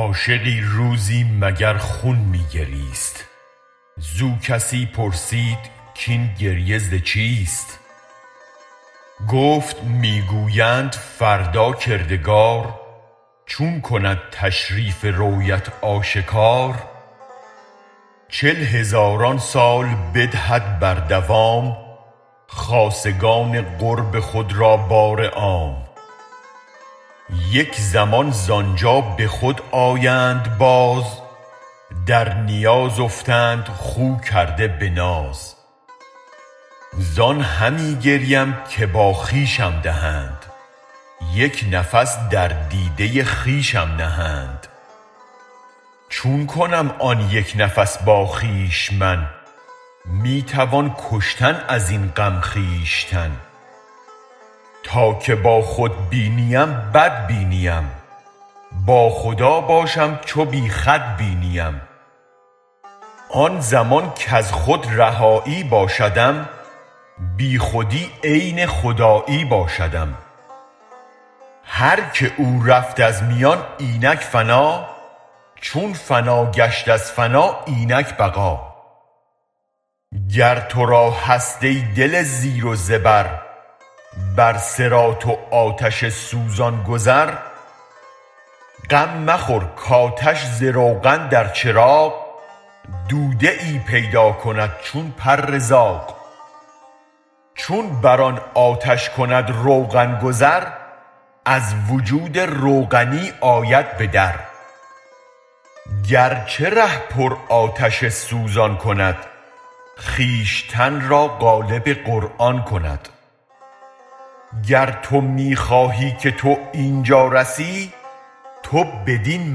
عاشقی روزی مگر خون می گریست زو کسی پرسید کین گریه زچیست گفت می گویند فردا کردگار چون کند تشریف رویت آشکار چل هزاران سال بدهد بردوام خاصگان قرب خود را بار عام یک زمان زانجا به خود آیند باز در نیاز افتند خو کرده به ناز زان همی گریم که با خویشم دهند یک نفس در دیده خویشم نهند چون کنم آن یک نفس با خویش من می توان کشتن ازین غم خویشتن تا که با خود بینیم بد بینیم با خدا باشم چو بی خود بینیم آن زمان کز خود رهایی باشدم بی خودی عین خدایی باشدم هرک او رفت از میان اینک فنا چون فنا گشت از فنا اینک بقا گر ترا هست ای دل زیر و زبر بر صراط و آتش سوزان گذر غم مخور کاتش ز روغن در چراغ دوده ای پیداکند چون پر زاغ چون بر آن آتش کند روغن گذر از وجود روغنی آید بدر گرچه ره پر آتش سوزان کند خویشتن را قالب قرآن کند گر تو می خواهی که تو اینجا رسی تو بدین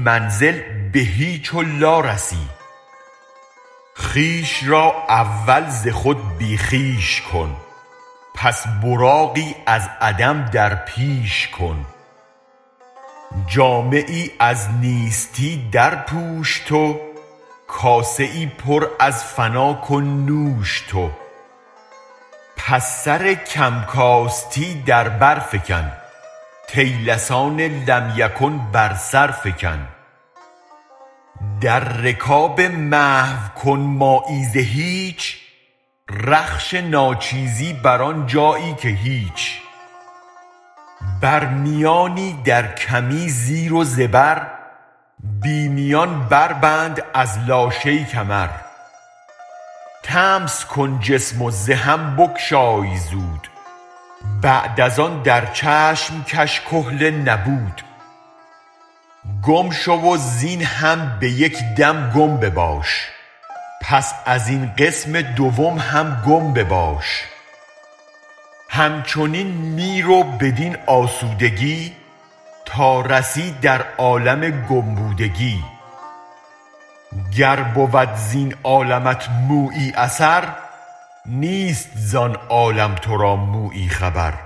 منزل به هیچ و لا رسی خویش را اول ز خود بی خویش کن پس براقی از عدم درپیش کن جامه ای از نیستی در پوش تو کاسه ای پر از فنا کن نوش تو پس سر کم کاستی در برفکن طیلسان لم یکن بر سرفکن در رکاب محو کن مایی ز هیچ رخش ناچیزی بر آن جایی که هیچ برمیانی در کمی زیر و زبر بی میان بربند از لاشی کمر طمس کن جسم وز هم بگشای زود بعد از آن در چشم کش کحل نبود گم شو وزین هم به یک دم گم بباش پس از این قسم دوم هم گم بباش همچنین می رو بدین آسودگی تا رسی در عالم گم بودگی گر بود زین عالمت مویی اثر نیست زان عالم ترا مویی خبر